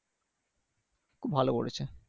খুব ভালো বলেছে